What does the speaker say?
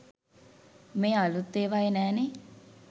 මේ අලුත් ඒවායේ නෑනේ.